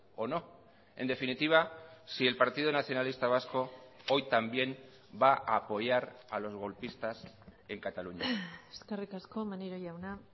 o no en definitiva si el partido nacionalista vasco hoy también va a apoyar a los golpistas en cataluña eskerrik asko maneiro jauna